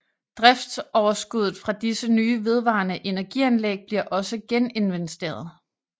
Driftsoverskuddet fra disse nye vedvarende energianlæg bliver også geninvesteret